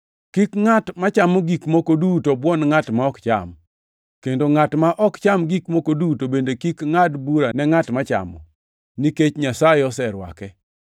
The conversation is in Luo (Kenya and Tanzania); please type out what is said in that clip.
Kik ngʼat machamo gik moko duto buon ngʼat ma ok cham, kendo ngʼat ma ok cham gik moko duto bende kik ngʼad bura ne ngʼat machamo, nikech Nyasaye oserwake.